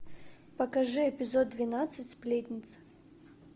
покажи эпизод двенадцать сплетница